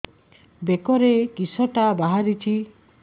ବେକରେ କିଶଟା ବାହାରିଛି